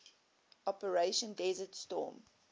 operation desert storm